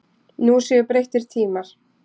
Nú séu breyttir tímar.